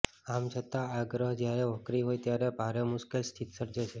આમ છતાં આ ગ્રહ જ્યારે વક્રી હોય ત્યારે ભારે મુશ્કેલ સ્થિતિ સર્જે છે